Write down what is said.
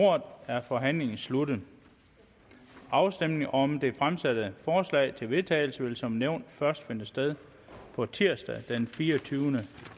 ordet er forhandlingen sluttet afstemningen om det fremsatte forslag til vedtagelse vil som nævnt først finde sted på tirsdag den fireogtyvende